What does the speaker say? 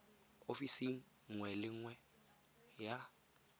ofising nngwe le nngwe ya